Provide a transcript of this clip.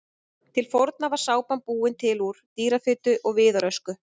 Til forna var sápan búin til úr dýrafitu og viðarösku.